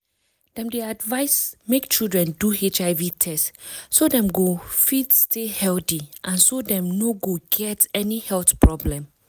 dem dey advise make children do hiv test so dem go fit stay healthy and so dem no go get any health problem